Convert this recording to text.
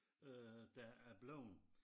Øh der er bleven